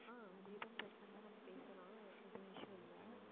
ஆஹ் அது எதுவும் பிரச்சனை இல்லை நம்ம பேசலாம் எதுவும் issue இல்லை.